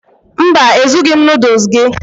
Mba, Ezughị m noodles gị